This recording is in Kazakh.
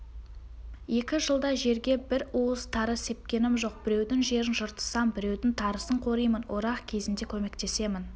екі жылда жерге бір уыс тары сепкенім жоқ біреудің жерін жыртысам біреудің тарысын қоримын орақ кезінде көмектесемін